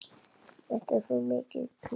Þetta er svo mikið klór.